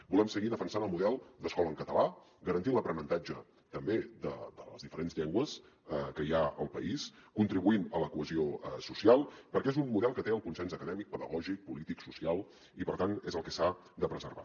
volem seguir defensant el model d’escola en català garantint l’aprenentatge també de les diferents llengües que hi ha al país contribuint a la cohesió social perquè és un model que té el consens acadèmic pedagògic polític social i per tant és el que s’ha de preservar